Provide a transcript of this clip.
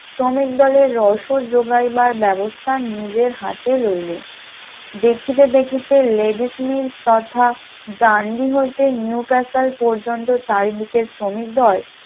শ্রমিক দলের রসদ যোগাইবার ব্যবস্থা নিজের হাতে লইলেন, দেখিতে দেখিতে লেডিসনীল তথা ডান্ডি হইতে নিউ কাসাল পর্যন্ত চারিদিকে শ্রমিক দল